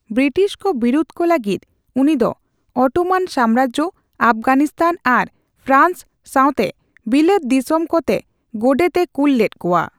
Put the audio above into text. ᱵᱤᱴᱤᱥ ᱠᱚ ᱵᱤᱨᱩᱫ ᱠᱚ ᱞᱟᱹᱜᱤᱫ ᱩᱱᱤ ᱫᱚ ᱚᱴᱚᱢᱟᱱ ᱥᱟᱢᱨᱟᱡᱡᱚ, ᱟᱯᱷᱜᱟᱱᱤᱥᱛᱟᱱ ᱟᱨ ᱯᱷᱮᱨᱟᱱᱥ ᱥᱟᱣᱛᱮ ᱵᱤᱞᱟᱹᱛ ᱫᱤᱥᱚᱢ ᱠᱚ ᱛᱮ ᱜᱚᱰᱮᱛ ᱮ ᱠᱩᱞ ᱞᱮᱫᱠᱚᱣᱟ ᱾